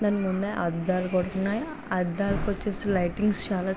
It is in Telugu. అద్దాలు కనబడుతున్నాయి అద్దాలు కొచ్చేసి లైటింగ్స్ చాలా --